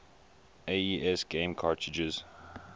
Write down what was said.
aes game cartridges